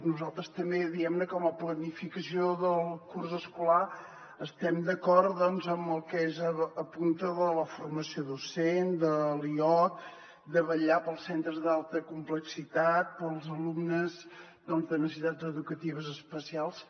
nosaltres també diguem ne com a planificació del curs escolar estem d’acord amb el que s’apunta de la formació docent de l’ioc de vetllar pels centres d’alta complexitat pels alumnes de necessitats educatives especials